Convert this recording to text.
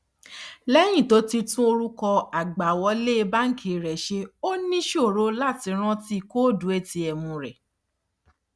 lẹyìn tó tún orúkọ àgbàwọlé banki rẹ ṣe ó ní ìṣòro láti rántí kóòdù atm rẹ